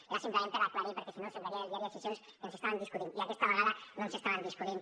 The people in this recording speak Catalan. era simplement per aclarir ho perquè si no semblaria en el diari de sessions que ens estàvem discutint i aquesta vegada no ens estàvem discutint